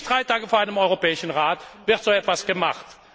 Immer pünktlich drei Tage vor einem Europäischen Rat wird so etwas gemacht.